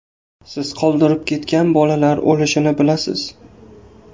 Siz qoldirib ketgan bolalar o‘lishini bilasiz.